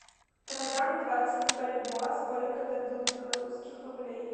продам двадцать бальбоа сколько дадут белорусских рублей